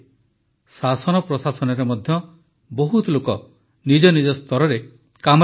ଶାସନ ପ୍ରଶାସନରେ ମଧ୍ୟ ବହୁତ ଲୋକ ନିଜ ନିଜ ସ୍ତରରେ କାମରେ ଲାଗିଛନ୍ତି